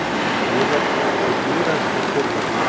Biðlar til íranskra stjórnvalda